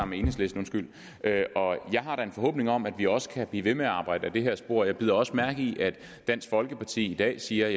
med enhedslisten og jeg har da en forhåbning om at vi også kan blive ved med at arbejde ad det her spor jeg bider også mærke i at dansk folkeparti i dag siger